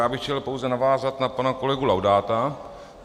Já bych chtěl pouze navázat na pana kolegu Laudáta.